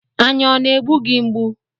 Anya ọ na-egbu gị mgbu?